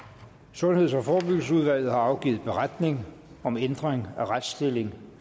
sundheds og forebyggelsesudvalget har afgivet beretning om ændring af retsstilling